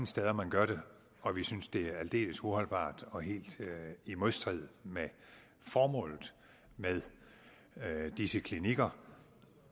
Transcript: steder man gør det og vi synes at det er aldeles uholdbart og helt i modstrid med formålet med disse klinikker